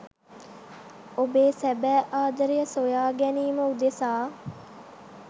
ඔබේ සැබෑ ආදරය සොයා ගැනීම උදෙසා